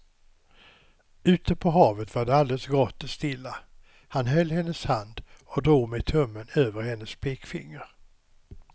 Ute på havet var det alldeles grått och stilla, han höll hennes hand och drog med tummen över hennes pekfinger.